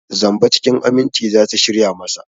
Zamba cikin aminci za su shirya masa.